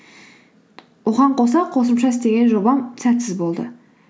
оған қоса қосымша істеген жобам сәтсіз болды